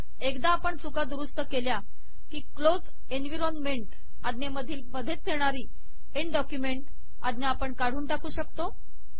एकदा आपण चुका दुरुस्त केल्या की क्लोज एनविरॉनमेंट आज्ञेमधील मधेच येणारी एन्ड डॉक्युमेंट आज्ञा आपण काढून टाकू शकतो